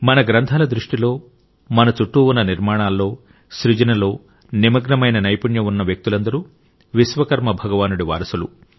మన గ్రంథాల దృష్టిలో మన చుట్టూ ఉన్న నిర్మాణాల్లో సృజనలో నిమగ్నమైన నైపుణ్యం ఉన్న వ్యక్తులందరూ విశ్వకర్మ భగవానుడి వారసులు